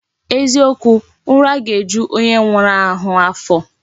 Eziokwu, ura ga eju onye nwuru ahu afo